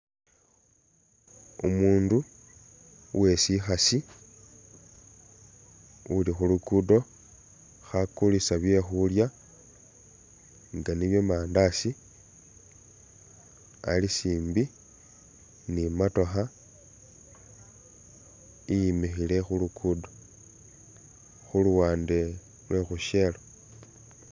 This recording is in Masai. Umundu uwesikhasi uli khulugudo khakulisa byekhulya nga niye mandatsi alisimbi mi matookha iyimikhile khulugudo khuluwande lwe khu shell